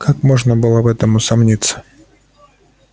как можно было в этом усомниться